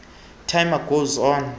times goes on